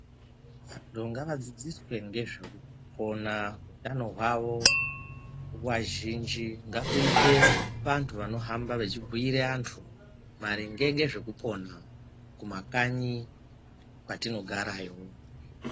Anyu ngavadzidziswe ngezvekupona utano hwawo nguwa zhinji ngakuite vantu vanohamba vechibhuire antu maringe ngezvekupona kumakanyi kwatinogarayo.